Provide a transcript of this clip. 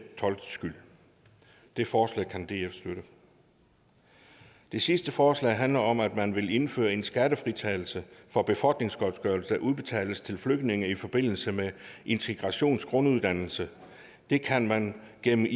toldskyld det forslag kan df støtte det sidste forslag handler om at man vil indføre en skattefritagelse for befordringsgodtgørelse der udbetales til flygtninge i forbindelse med integrationsgrunduddannelsen det kan man gennem